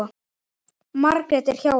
Margrét er hjá henni.